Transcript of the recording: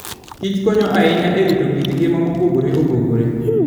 Kich konyo ahinya e rito kit ngima mopogore opogore.